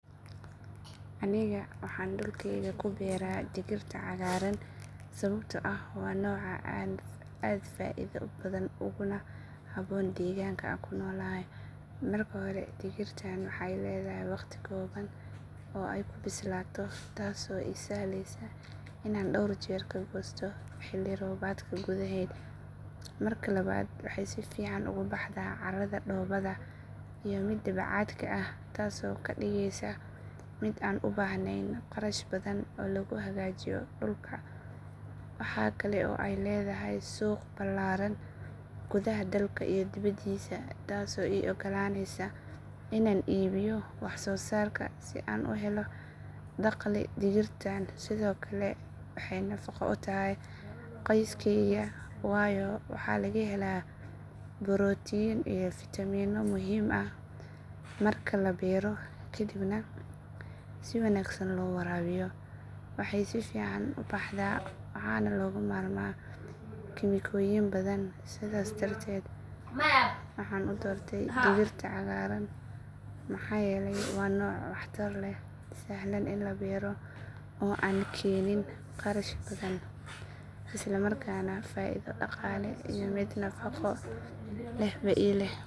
Aniga waxaan dhulkayga ku beeraa digirta cagaaran sababtoo ah waa nooc aad u faa’iido badan uguna habboon deegaanka aan ku noolahay. Marka hore digirtan waxay leedahay waqti kooban oo ay ku bislaato taasoo ii sahlaysa inaan dhowr jeer ka goosto xilli roobaadka gudaheed. Marka labaad waxay si fiican ugu baxdaa carrada dhoobada iyo midda bacaadka ah taasoo ka dhigaysa mid aan u baahnayn kharash badan oo lagu hagaajiyo dhulka. Waxa kale oo ay leedahay suuq ballaaran gudaha dalka iyo dibeddiisa taasoo ii ogolaanaysa inaan iibiyo wax soo saarka si aan u helo dakhli. Digirtan sidoo kale waxay nafaqo u tahay qoyskayga waayo waxaa laga helaa borotiin iyo fiitamiinno muhiim ah. Marka la beero kaddibna si wanaagsan loo waraabiyo waxay si fiican u baxdaa waxaana looga maarmaa kiimikooyin badan. Sidaas darteed waxaan u doortay digirta cagaaran maxaa yeelay waa nooc waxtar leh, sahlan in la beero, oo aan keenin kharash badan, isla markaana faa’iido dhaqaale iyo mid nafaqo lehba ii leh.